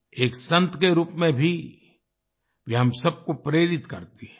एक संत के रूप में भी वे हम सबको प्रेरित करती हैं